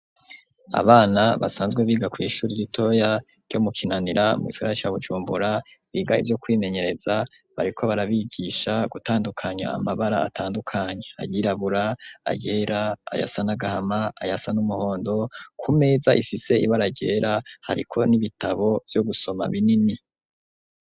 Abana basanzwe biga kw'ishuri ritoya ryo mu kinanira mu gisagara cya gucumbura biga ibyo kwimenyereza bariko barabigisha gutandukanya amabara atandukanya ayirabura agera ayasa nagahama ayasa n'umuhondo ku meza ifise ibaragera hariko n'ibitabo byo gusoma binini.